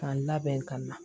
K'an labɛn ka na